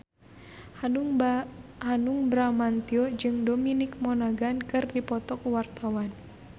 Hanung Bramantyo jeung Dominic Monaghan keur dipoto ku wartawan